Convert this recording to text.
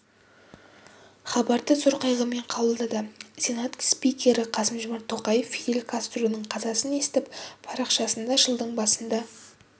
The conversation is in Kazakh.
хабарды зор қайғымен қабылдады сенат спикері қасым-жомарт тоқаев фидель кастроның қазасын естіп парақшасында жылдың басында